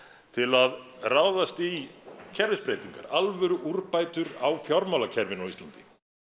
til að ráðast í kerfisbreytingar alvöru úrbætur á fjármálakerfinu á Íslandi